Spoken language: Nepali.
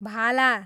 भाला